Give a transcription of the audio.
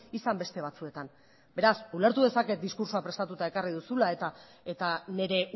izan beste batzuetan beraz ulertu dezaket diskurtsoa prestatuta ekarri duzula eta nire